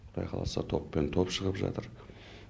құдай қаласа топпен топ шығып жатыр